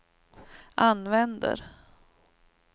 använder